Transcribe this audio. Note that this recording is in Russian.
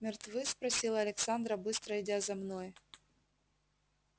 мертвы спросила александра быстро идя за мной